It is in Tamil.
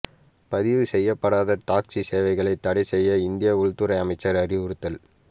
பதிவு செய்யப்படாத டாக்ஸி சேவைகளை தடை செய்ய இந்திய உள்துறை அமைச்சர் அறிவுறுத்தல்